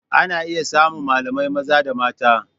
Ana iya samun malamai maza da mata.